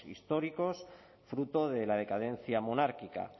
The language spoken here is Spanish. históricos fruto de la decadencia monárquica